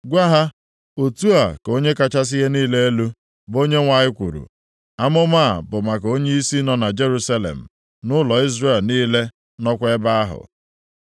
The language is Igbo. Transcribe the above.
“Gwa ha, ‘Otu a ka Onye kachasị ihe niile elu, bụ Onyenwe anyị kwuru: Amụma a bụ maka onyeisi nọ na Jerusalem, nʼụlọ Izrel niile nọkwa ebe ahụ.’